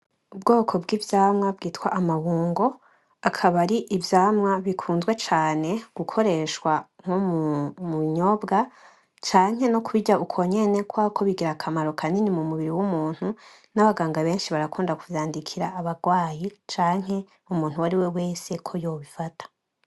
Ubwoko bwi'vyamwa bwitwa amabungo, akaba ari ivyamwa bikunzwe cane gukoreshwa nko mubinyobwa canke no kubirya ukonyene kubera ko bigira akamaro kanini mumubiri wumuntu, nabaganga benshi barakunda kuvyandikira abarwayi canke umuntu uwariwe wese ko yobifata.